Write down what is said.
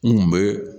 N kun be